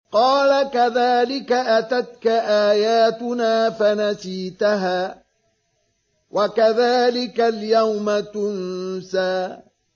قَالَ كَذَٰلِكَ أَتَتْكَ آيَاتُنَا فَنَسِيتَهَا ۖ وَكَذَٰلِكَ الْيَوْمَ تُنسَىٰ